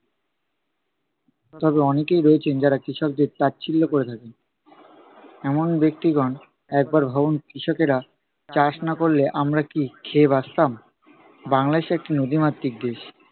তবে অনেকেই রয়েছেন যারা কৃষকদের তাচ্ছিল্য কোরে থাকেন। এমন ব্যক্তিগণ একবার ভাবুন কৃষকেরা চাষ না করলে, আমরা কি খেয়ে বাঁচতাম? বাংলাদেশ একটি নদীমাতৃক দেশ।